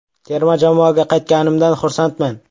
“Terma jamoaga qaytganimdan xursandman.